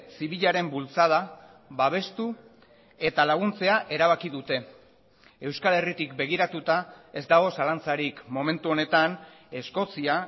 zibilaren bultzada babestu eta laguntzea erabaki dute euskal herritik begiratuta ez dago zalantzarik momentu honetan eskozia